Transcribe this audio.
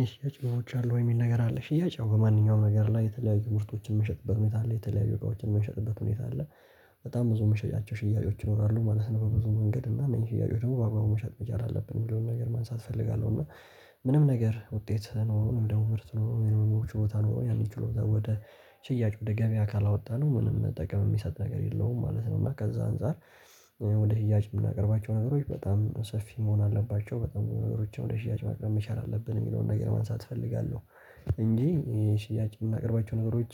ይሄ ጨዋዎች አሉ ወይ? የሚል ነገር አለ ሽያጭ ያው በማንኛውም ነገር ላይ የተለያዩ ምርቶችን የምንሸጥበት ሁኔታ አለ የተለያዩ እቃዎችን የምንሸጥበት ሁኔታ አለ። በጣም ብዙ መሸጫቸው ሽያጮች ይኖራሉ ማለት ነው። በብዙ መንገድ እና እነዚህ ሽያጩ ደግሞ በአብዛኛው መሸጥ መቻል አለብን ብሎ ነገር ማንሳት እፈልጋለሁ። እና ምንም ነገር ውጤት ነው ወደ ወርት ነው ወደ ወርት ችሎታ ነው ያሚችሎታ ወደ ሽያጭ ወደ ገበያ ካላወጣነው ምንም ጠቀም የሚሰጥ ነገር የለውም ማለት ነው። እና ከዛ አንፃር። ወደ እያጅ የምናቀርባቸው ነገሮች በጣም ሰፊ መሆን አለባቸው በጣም ነገሮችን ወደ ሽያጭ ማቅረብ መቻል አለብን የሚለውን ነገር ማንሳት እፈልጋለሁ። እንጂ ሽያጭ የምናቀርባቸው ነገሮች